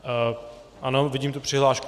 Ano, vidím tu přihlášku.